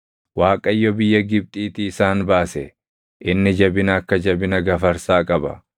Waaqayyo biyya Gibxiitii isaan baase; inni jabina akka jabina gafarsaa qaba.